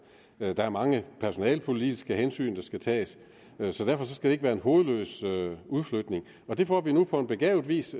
der er mange personalepolitiske hensyn der skal tages så derfor skal det ikke være en hovedløs udflytning det får vi nu på begavet vis